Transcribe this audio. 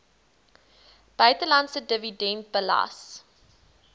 buitelandse dividend belas